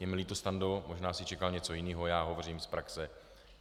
Je mi líto, Stando, možná jsi čekal něco jiného, já hovořím z praxe.